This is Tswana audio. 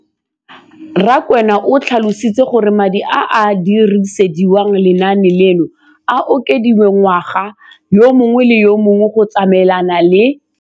Rakwena o tlhalositse gore madi a a dirisediwang lenaane leno a okediwa ngwaga yo mongwe le yo mongwe go tsamaelana le